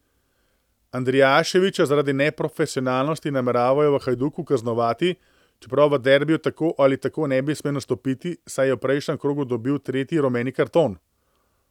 Andrijaševića zaradi neprofesionalnosti nameravajo v Hajduku kaznovati, čeprav v derbiju tako ali tako ne bi smel nastopiti, saj je v prejšnjem krogu dobil tretji rumeni karton.